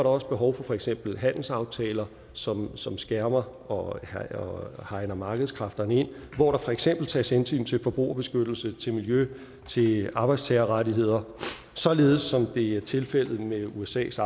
også behov for for eksempel handelsaftaler som som skærmer og hegner markedskræfterne ind hvor der for eksempel tages hensyn til forbrugerbeskyttelse til miljø til arbejdstagerrettigheder således som det er tilfældet med usas